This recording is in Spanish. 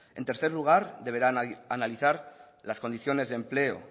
en tercer lugar deberá analizar las condiciones de empleo